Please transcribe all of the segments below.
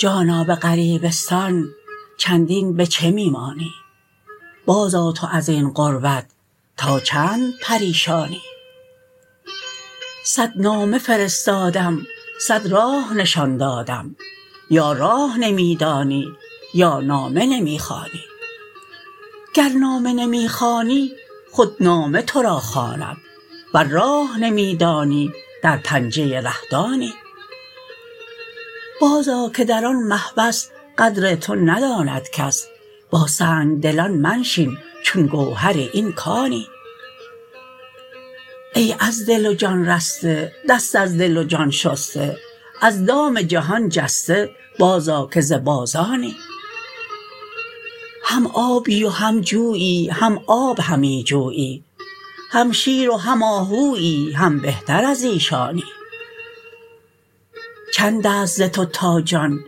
جانا به غریبستان چندین به چه می مانی بازآ تو از این غربت تا چند پریشانی صد نامه فرستادم صد راه نشان دادم یا راه نمی دانی یا نامه نمی خوانی گر نامه نمی خوانی خود نامه تو را خواند ور راه نمی دانی در پنجه ره-دانی بازآ که در آن محبس قدر تو نداند کس با سنگ دلان منشین چون گوهر این کانی ای از دل و جان رسته دست از دل و جان شسته از دام جهان جسته بازآ که ز بازانی هم آبی و هم جویی هم آب همی جویی هم شیر و هم آهویی هم بهتر از ایشانی چند است ز تو تا جان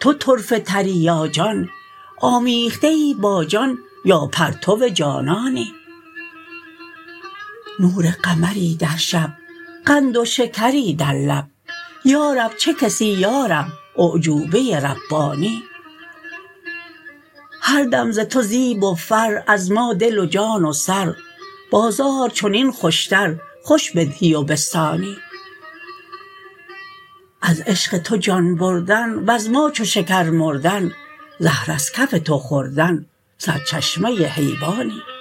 تو طرفه تری یا جان آمیخته ای با جان یا پرتو جانانی نور قمری در شب قند و شکری در لب یا رب چه کسی یا رب اعجوبه ربانی هر دم ز تو زیب و فر از ما دل و جان و سر بازار چنین خوشتر خوش بدهی و بستانی از عشق تو جان بردن وز ما چو شکر مردن زهر از کف تو خوردن سرچشمه حیوانی